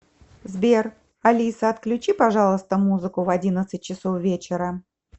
сбер алиса отключи пожалуйста музыку в одиннадцать часов вечера